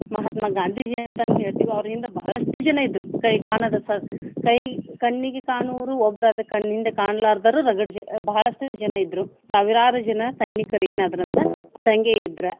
ಮಹಾತ್ಮ ಗಾಂಧಿಜಿ ಅಂತನು ಹೇಳ್ತೀವಿ ಅವ್ರ ಹಿಂದ ಬಹಳಷ್ಟು ಜನ ಇದ್ರು ಕೈ ಕಾಣದ ಸ~ ಕೈ ಕಣ್ಣಿಗೆ ಕಾಣುವರು ಒಬ್ರಾದ್ರೆ ಕಣ್ಣಿಂದ ಕಾಣಲಾರದವ್ರು ರಗಡ ಜನ ಬಹಳಷ್ಟು ಜನ ಇದ್ರು ಸಾವಿರಾರು ಜನ ಸೈನಿಕರೇನಾದ್ರ ಅಂದ್ರ ದಂಗೆ ಎದ್ರ.